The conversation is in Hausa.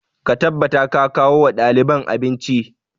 Ka tabbata ka kawo wa ɗaliban abinci!